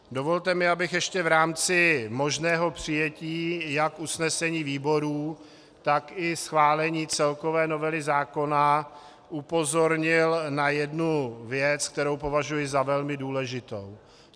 Dovolte mi, abych ještě v rámci možného přijetí jak usnesení výborů, tak i schválení celkové novely zákona upozornil na jednu věc, kterou považuji za velmi důležitou.